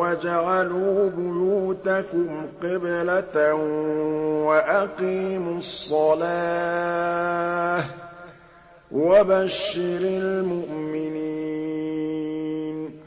وَاجْعَلُوا بُيُوتَكُمْ قِبْلَةً وَأَقِيمُوا الصَّلَاةَ ۗ وَبَشِّرِ الْمُؤْمِنِينَ